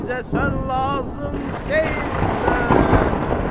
Bizə sən lazım deyilsən!